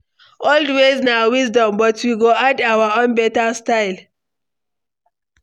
Old ways na wisdom, but we go add our own beta style.